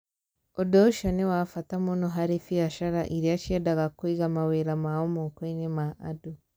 Ũndũ ũcio nĩ wa bata mũno harĩ biacara iria ciendaga kũiga mawĩra mao moko-inĩ ma andũ.